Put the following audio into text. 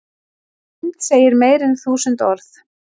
Mynd segir meira en þúsund orð